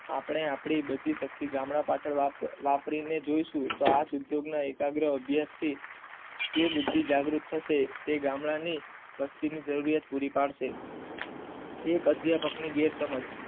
આપણે આપડી બધી શક્તિ ગામડા પાછળ વાપરી ને જોય શું તો આ ઉદ્યોગના એકાગ્રહ અભ્યાસ થી જે બુદ્ધિ જાગૃત થશે તે ગામડા ની વસ્તી ની જરિયાત પુરી પાડશે એક અધ્યાપકની ગેરસમજ